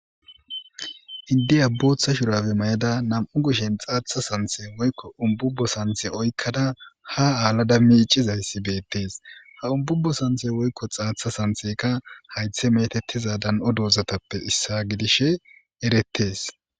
iddey a boththa shurafe mayada nam7u gushshen xaatha santhe ko ububo santhe oykkada ha aala dammi icizayssi beettees ha umbubo santhe woykko xaatha santheka haythe metettiza dan7o doozatappe issa gidishe erettes